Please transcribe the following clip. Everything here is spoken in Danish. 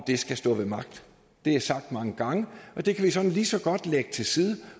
skal stå ved magt det er sagt mange gange og det kan vi såmænd lige så godt lægge til side